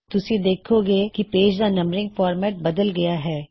ਤੁਸੀਂ ਦੇਖੋਂਗੇ ਕੀ ਪੇਜ ਦਾ ਨੰਬਰਿੰਗ ਫਾਰਮੈਟ ਬਦਲ ਗਇਆ ਹੈ